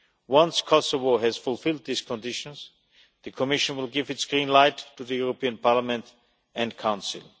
Once Kosovo has fulfilled these conditions, the Commission will give its green light to the European Parliament and Council.